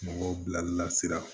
Mɔgɔw bila la sira